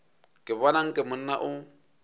ke bona nke monna o